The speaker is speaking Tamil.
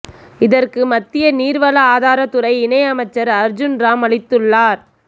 இதற்கு மத்திய நீர்வள ஆதாரத்துறை இணை அமைச்சர் அர்ஜூன் ராம் அளித்துள்ளார்